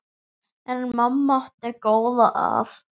En mamma átti góða að.